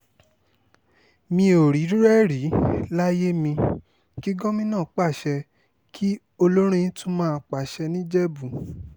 mi ò rírú ẹ̀ rí láyé mi kí gómìnà pàṣẹ kí olórin tún máa pàṣẹ nìjẹ̀bù